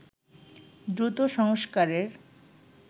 দ্রুত সংস্কারের